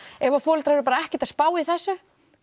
ef foreldrar eru bara ekkert að spá í þessu